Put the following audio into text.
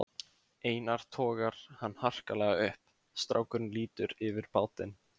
Einar togar hann harkalega upp, strákurinn lítur yfir bátinn